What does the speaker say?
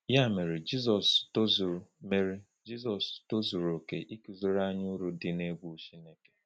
Ya mere, Jizọs tozuru mere, Jizọs tozuru oke ịkụziri anyị uru dị n’egwu Chineke.